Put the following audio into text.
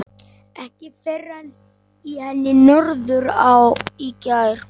Ekki fyrr en í henni Norðurá í gær.